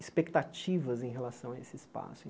Expectativas em relação a esse espaço.